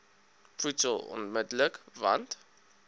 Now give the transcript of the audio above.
voedsel onmidddelik want